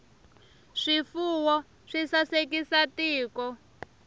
swifuwo swi sasekisa tiko